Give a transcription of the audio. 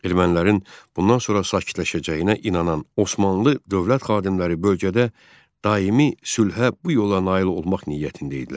Ermənilərin bundan sonra sakitləşəcəyinə inanan Osmanlı dövlət xadimləri bölgədə daimi sülhə bu yolla nail olmaq niyyətində idilər.